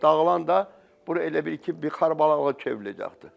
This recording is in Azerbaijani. Dağılanda bura elə bil ki, bir xarabalığa çevriləcəkdi.